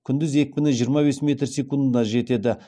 күндіз екпіні жиырма бес метр секундына жетеді